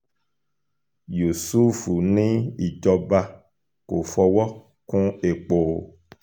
yusuf ní ìjọba kò fọwọ́ kún epo o